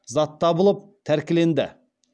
зат табылып тәркіленді